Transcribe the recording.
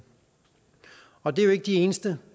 og de er jo ikke de eneste